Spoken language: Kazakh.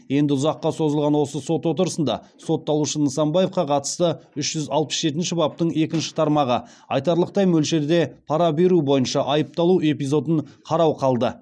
енді ұзаққа созылған осы сот отырысында сотталушы нысанбаевқа қатысты үш жүз алпыс жетінші баптың екінші тармағы бойынша айыпталу эпизодын қарау қалды